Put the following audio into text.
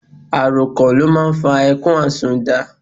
Àròkàn ló n fa ẹkún àsunnda